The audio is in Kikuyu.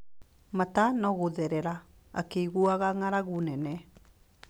Mata no gũtherera, akĩiguaga ng’aragu nene.